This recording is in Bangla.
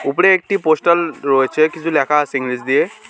ওপরে একটি পোস্টাল রয়েছে কিছু ল্যাখা আছে ইংরেজি দিয়ে।